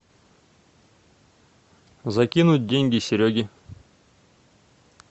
закинуть деньги сереге